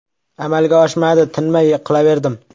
Amalga oshmadi, tinmay yiqilaverdim.